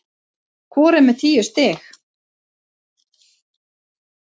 Hvor er með tíu stig